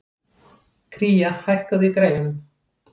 Kría, hækkaðu í græjunum.